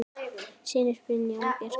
Synir: Brynjar og Bjarki.